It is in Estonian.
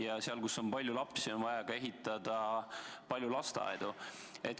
Ja seal, kus on palju lapsi, on vaja ehitada palju lasteaedu.